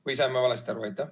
Või sain ma valesti aru?